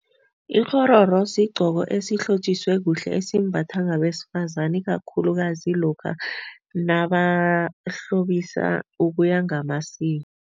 Ikghororo sigqoko esihlotjiswe kuhle esimbathwa ngabesifazani ikakhulukazi lokha nabahlobisa ukuya ngamasiko.